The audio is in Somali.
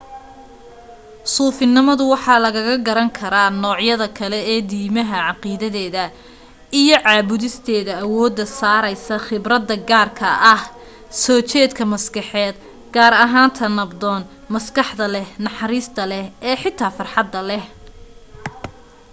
suufinimada waxa lagaga garan karaa noocyada kale ee diimaha caqiidadeeda iyo caabudisteeda awooda saaraysa khibrada gaarka ah soo jeedka maskaxeed gaar ahaan ta nabdoon maskaxda leh naxariista leh ee xitaa farxada leh